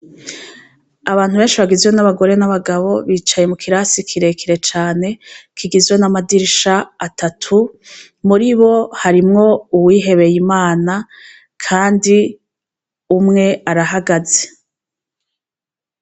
Abantu benshi bagizwe n'abagore n'abagabo bicaye mu kirasi kirekire cane kigizwe n'amadirisha atatu, muri bo harimwo uwihebeye Imana kandi umwe arahagaze.